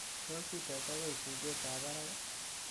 tos ites agoi tuget ab barak ii